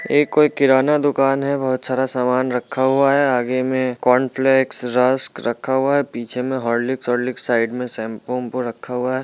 ये कोई किराना दुकान हैंबहुत सारा सामान रखा हुआ हैं आगे में कोनफ्लेक्स रक्स रखा हुआ हैं पीछे में हॉर्लिक्स साईड में सेम्पू वेम्पू रखा हुआ हैं।